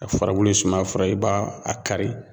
A furabulu ye sumayafura ye i b'a a kari